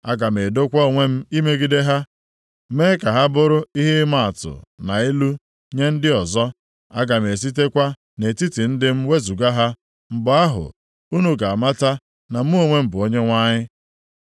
Aga m edokwa onwe m imegide ha, mee ka ha bụrụ ihe ịmaatụ na ilu nye ndị ọzọ. Aga m esitekwa nʼetiti ndị m wezuga ha. Mgbe ahụ, unu ga-amata na mụ onwe m bụ Onyenwe anyị.